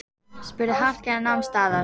spurði Hallkell og nam staðar.